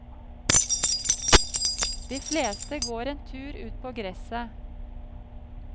De fleste går en tur ut på gresset.